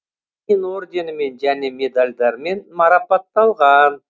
ленин орденімен және медальдармен марапатталған